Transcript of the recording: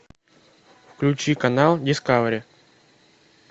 включи канал дискавери